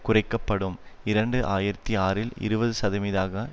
குறைக்க படும் இரண்டு ஆயிரத்தி ஆறில் இருபது சதவிதஅக